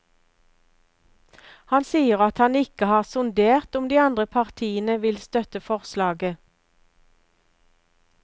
Han sier at han ikke har sondert om de andre partiene vil støtte forslaget.